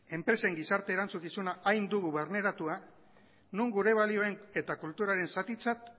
enpresen gizarte erantzukizuna hain dugu barneratua non gure balioen eta kulturaren zatitzat